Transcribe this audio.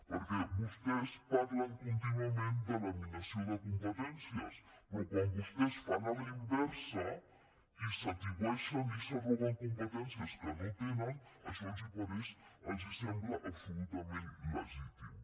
perquè vostès parlen contínuament de laminació de competències però quan vostès ho fan a la inversa i s’atribueixen i s’arroguen competències que no tenen això els sembla absolutament legítim